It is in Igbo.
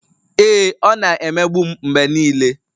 Ee, ọ na-emegbu m mgbe niile